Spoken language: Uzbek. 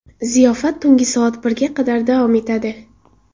Ziyofat tunggi soat birga qadar davom etadi.